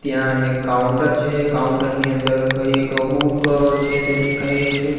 ત્યાં એક કાઉન્ટર છે કાઉન્ટર ની અંદર એક બુક છે તે દેખાઈ રહી છે.